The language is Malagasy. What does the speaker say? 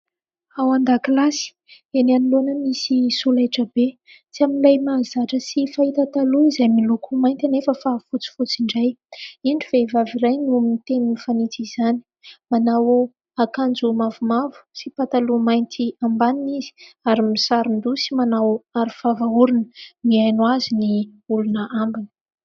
Ao an-dakilasy eny anoloana, misy solaitrabe tsy amin'ilay mahazatra sy fahita taloha izay miloko mainty anefa fa fotsifotsy indray, indro vehivavy iray no miteny fanitsin' izany, manao akanjo mavomavo sy pataloha mainty ambaniny izy ary misaron-doha sy manao aro vava orona, mihaino azy ny olona ambiny.